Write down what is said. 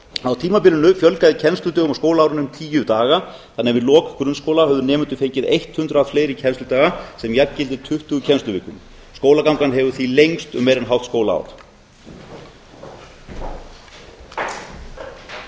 á tímabilinu fjölgaði kennsludögum á skólaárinu um tíu daga þannig að við lok grunnskóla höfðu nemendur fengið hundrað fleiri kennsludaga sem jafngildir tuttugu kennsluvikum skólagangan hefur því lengst um meira en hálft skólaár